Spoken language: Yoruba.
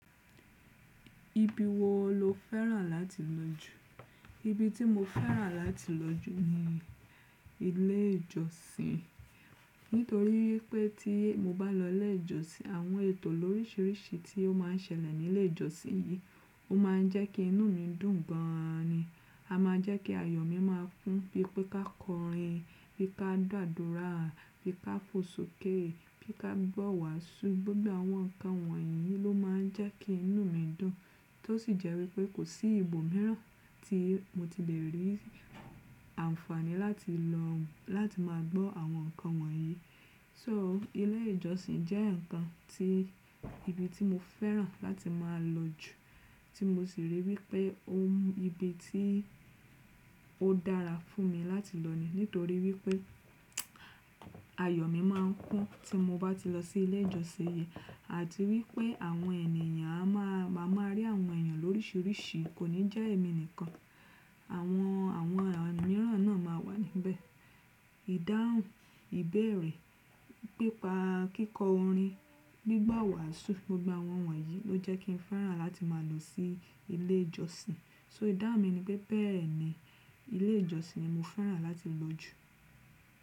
Ibi wo lo fẹ́ràn láti lọ jù? Ibi tí mo fẹ́ràn láti lọ jù ni ilé ìjọsìn. Nítorí wipé tí mo bá lọ ilé ìjọsìn àwọn ètò lórísìírísìí tí ó má ń ṣẹlẹ̀ ní ilé ìjọsìn yí ó má ń jẹ́ kí inú mi dùn gan an ni. A máa n jẹ́ kí ayọ̀ mi máa kún bí pé ká kọrin, bí ká gbàdúrà, bí ká fò sókè, bí ká gbọ́ wàású, gbogbo àwọn ǹkan wọ̀nyí ló má ń jẹ́ kí inú mi dùn. Tó sì jẹ́ wípé kò sí ibòmíràn tí mo ti lè rí ànfàní láti lọ láti máa gbọ́ àwọn ǹkan wọ̀nyí. So ilé ìjọsìn jẹ́ ǹkan tí ibi tí mo fẹ́ràn láti máa lọ jù, tí mo sì rí wípé ó ibi tí ó dára fún mi láti lọ ni. Nítorí wípé ayọ̀ mi má ń kún tí mo bá ti lọ sí ilé ìjọsìn yí. Àti wípé àwọn ènìyàn a má maa máa rí àwọn ènìyàn lórísìírísìí kò ní jẹ́ èmi nìkan. Àwọn àwọn òmìran náà máa wà níbẹ̀. Ìdáhùn, ìbẹ̀erẹ̀, pípa kíkọ orin, gbígbọ́ wàású, gbogbo àwọn wọ̀nyí ló jẹ́ kí n fẹ́ràn láti máa lọ sí ilé ìjọsìn. So ìdáhùn mi ni pé bẹ́ẹ̀ni ilé ìjọsìn ni mo fẹ́ràn láti lọ jù.